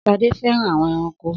Sade fẹràn awọn ẹranko